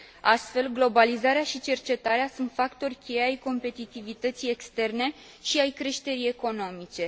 Astfel, globalizarea și cercetarea sunt factori cheie ai competitivității externe și ai creșterii economice.